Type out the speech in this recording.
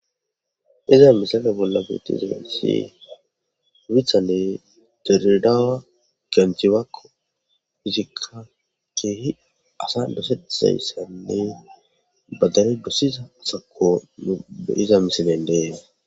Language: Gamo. Iza misala bolla miti zasi withanne teridaawa genchiwako hizikka keehi asa dosetayssanne badare dossiza sako ue iza misilendeen.